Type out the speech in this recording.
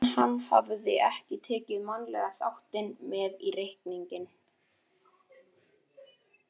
En hann hafði ekki tekið mannlega þáttinn með í reikninginn.